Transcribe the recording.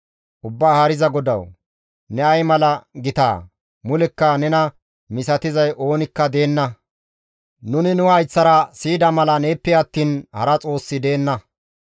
«Ubbaa Haariza GODAWU, ne ay mala gitaa! Mulekka nena misatizay oonikka deenna; nuni nu hayththara siyida mala neeppe attiin hara Xoossi deenna.